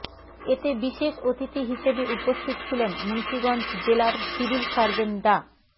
এতে বিশেষ অতিথি হিসেবে উপস্থিত ছিলেন মুন্সীগঞ্জ জেলার সিভিল সার্জন ডা